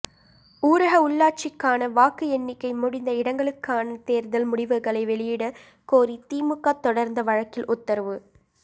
ஊரக உள்ளாட்சிக்கான வாக்கு எண்ணிக்கை முடிந்த இடங்களுக்கான தேர்தல் முடிவுகளை வெளியிட கோரி திமுக தொடர்ந்த வழக்கில் உத்தரவு